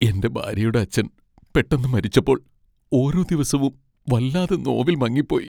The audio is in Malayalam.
എന്റെ ഭാര്യയുടെ അച്ഛൻ പെട്ടെന്ന് മരിച്ചപ്പോൾ ഓരോ ദിവസവും വല്ലാതെ നോവിൽ മങ്ങിപ്പോയി.